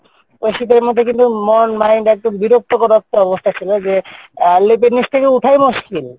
ও শীতের মধ্যে কিন্তু মন mind একদম বিরক্তকর একটা অবস্থা ছিলো যে, আহ লেপের নিচ থেকে উঠাই মুশকিল,